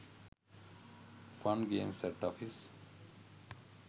fun games at office